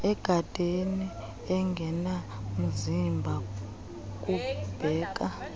egadeni engenamzimba kubheka